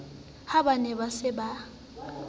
ha ba ne ba sa